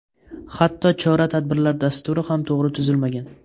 Hatto chora-tadbirlar dasturi ham to‘g‘ri tuzilmagan.